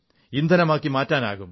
ഇന്ധനമാക്കി മാറ്റാം